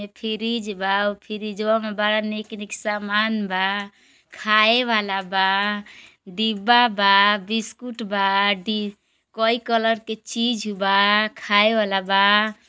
ई फ्रिज बा ऊ फ्रिजवा मे बड़ा नीक नीक सामान बा। खाए वाला बा डिब्बा बा बिस्कुट बा डी कई कलर के चीज बा खाए वाला बा।